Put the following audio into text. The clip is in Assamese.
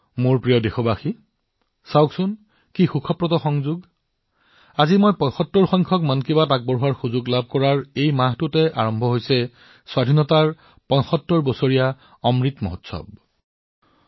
মোৰ মৰমৰ দেশবাসীসকল চাওক আজি ৭৫তম মন কী বাতত কথা কোৱাৰ সুযোগ আৰু এই মাহটোৱেই স্বাধীনতাৰ ৭৫ বছৰৰ অমৃত উৎসৱৰ আৰম্ভণিৰ মাহ